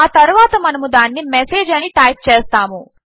ఆ తరువాత మనము దానిని మెసేజ్ అని టైప్ చేస్తాము